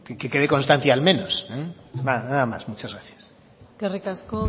que quede constancia l menos nada más muchas gracias eskerrik asko